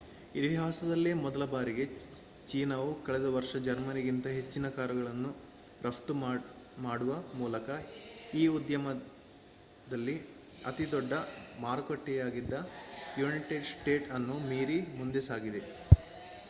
ಇತಿಹಾಸದಲ್ಲೇ ಮೊದಲ ಬಾರಿಗೆ ಚೀನಾವು ಕಳೆದ ವರ್ಷ ಜರ್ಮನಿಗಿಂತ ಹೆಚ್ಚಿನ ಕಾರುಗಳನ್ನು ರಫ್ತು ಮಾಡುವ ಮೂಲಕ ಈ ಉದ್ಯಮಲ್ಲಿ ಅತಿದೊಡ್ಡ ಮಾರುಕಟ್ಟೆಯಾಗಿದ್ದ ಯುನೈಟೆಡ್ ಸ್ಟೇಟ್ಸ್ ಅನ್ನು ಮೀರಿ ಮುಂದೆ ಸಾಗಿದೆ